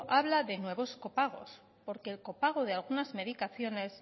hablar de nuevos copagos porque el copago de algunas medicaciones